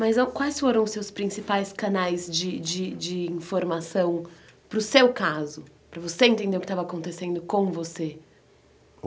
Mas quais foram os seus principais canais de de de informação para o seu caso, para você entender o que estava acontecendo com você?